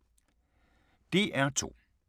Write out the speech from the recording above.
DR2